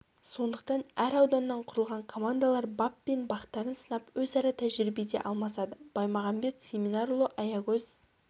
сондықтан әр ауданнан құрылған командалар бап пен бақтарын сынап өзара тәжірибе де алмасады баймағанбет семинарұлы аягөз